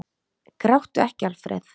Gráttu ekki, Alfreð!